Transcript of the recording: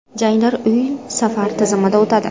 Janglar uy-safar tizimida o‘tadi.